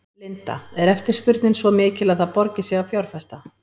Linda: Er eftirspurnin svo mikil að það borgi sig að fjárfesta?